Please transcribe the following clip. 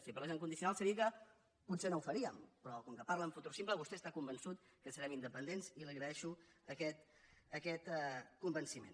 si parlés en condicional seria que potser no ho faríem però com que parla en futur simple vostè està convençut que serem independents i li agraeixo aquest convenciment